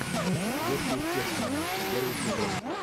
сверхъестественное первый сезон